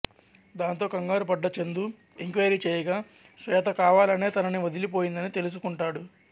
దాంతో కంగారుపడ్డ చందు ఎంక్వైరీ చేయగా శ్వేత కావాలనే తనని వదిలిపోయిందని తెలుసుకుంటాడు